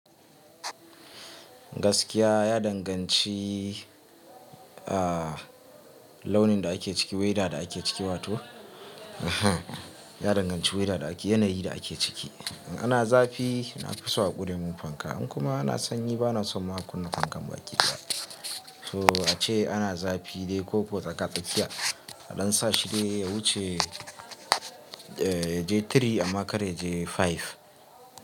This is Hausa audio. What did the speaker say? Gaskiya ya danganci, ah launin da ake ciki, weather da ake ciki wato, ya danganci weather da ake, yanayi da ake ciki. In ana zafi na fi so a ƙure mun fanka, in kuma ana sanyi bana son ma a kunna fankan baƙi da. To ace ana zafi dai koko tsaka tsakiya a dan sa shi dai ya wuce, eh yaje three amma kar yaje five.